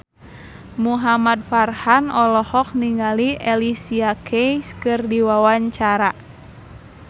Muhamad Farhan olohok ningali Alicia Keys keur diwawancara